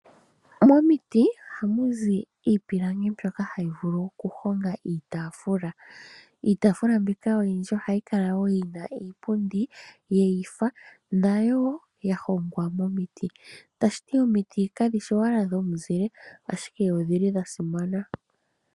Momiti ohamu zi iipilangi mbyoka hayi vulu okuhonga iitaafula. Iitaafula mbika oyindji ohayi kala wo yi na iipundi yafaathana, nayo wo ya hongwa momiti. Tashi ti omiti kadhi shi owala dhomuzile, ashike odhi li dha simana.